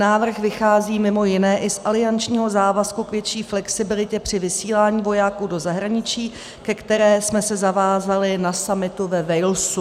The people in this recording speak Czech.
Návrh vychází mimo jiné i z aliančního závazku k větší flexibilitě při vysílání vojáků do zahraničí, ke které jsme se zavázali na summitu ve Walesu.